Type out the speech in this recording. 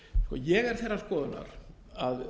ég er þeirrar skoðunar að